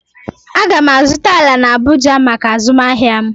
Aga m azụta ala na Abụja maka azụmahịa m